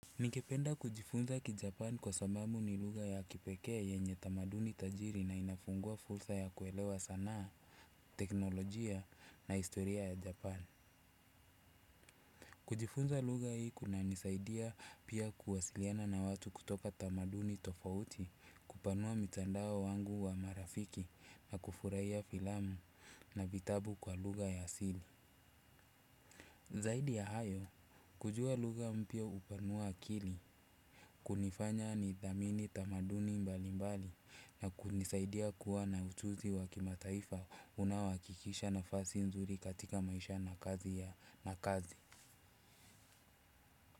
Ningependa kujifunza ki Japan kwa sababu ni lugha ya kipekee yenye tamaduni tajiri na inafungua fursa ya kuelewa sanaa, teknolojia na historia ya Japan. Kujifunza lugha hii kunanisaidia pia kuwasiliana na watu kutoka tamaduni tofauti kupanua mtandao wangu wa marafiki na kufurahiya filamu na vitabu kwa lugha ya asili. Zaidi ya hayo, kujua lugha mpya hupanua akili, kunifanya nithamini tamaduni mbali mbali na kunisaidia kuwa na ujuzi wa kimataifa unaohakikisha nafasi nzuri katika maisha na kazi ya na kazi.